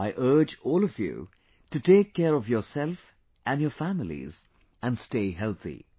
I urge all of you to take care of yourself and your families and stay healthy